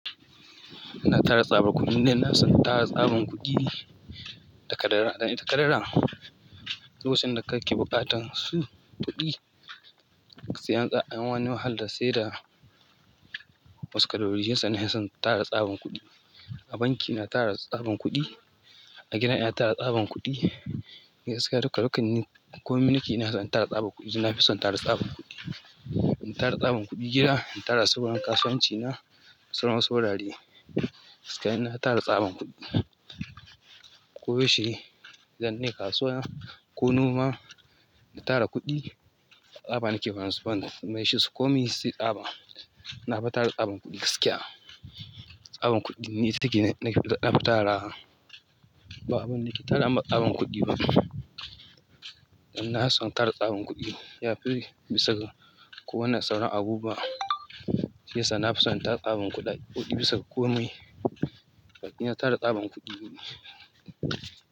Na tara tsabar kuɗin dan ina son tara tsaban kuɗi da kadara dan ita kadara lokacin da kake buƙatan su kuɗi, sai an tsaya anyi wani wahalan sai dawa wasu kadorori yasa nafi son tara tsaban kuɗi. A banki ina tara tsaban kuɗi, a gida ina tara tsaban kuɗi, gaskiya duka-dukannin komin ni ke ina son tara tsaban kuɗi. Ina fi son tara tsaban kuɗi. In tara tsaban kuɗi gida, in tara tsaban kasuwanci na, sauransu wurare, gaskiya ina tara tsaban kuɗi. Ko yaushe, zan je kasuwa ko noma in tara kuɗi, tsaba nake basu bani. Me shi su komi sai tsaban, na fi tara tsaban kuɗi gaskiya. Tsaban kuɗin ne ciki nake daɗa tara ba abun nake tara amma tsaban kuɗi ba. Ina son tara tsaban kuɗi, ya fi bisa ga kowane sauran abu ba. Yasa na fi son tara tsaban kuɗa kuɗi bisa ga kome. Gaskiya na tara tsaban kuɗi.